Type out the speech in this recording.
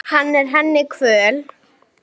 Hann er henni kvöl.